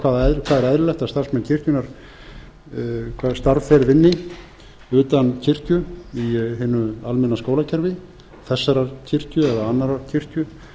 hvaða er eðlilegt að starfsmenn kirkjunnar vinni utan kirkju í hinu almenna skólakerfi þessarar kirkju eða annarrar kirkju